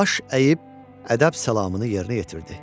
Baş əyib ədəb salamını yerinə yetirdi.